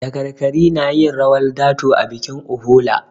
Dakarkari na yin rawar dato a bikin Uhola.